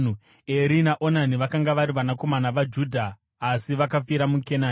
Eri naOnani vakanga vari vanakomana vaJudha, asi vakafira muKenani.